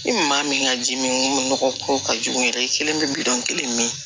Ni maa min ka ji mi n ko nɔgɔ ko ka jugu yɛrɛ i kelen bi miliyɔn kelen mi